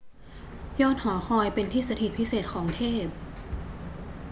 ยอดหอคอยเป็นที่สถิตพิเศษของเทพ